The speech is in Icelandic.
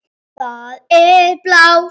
Það er blár.